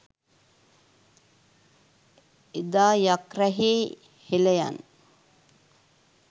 එදා යක් රැහේ හෙළයන්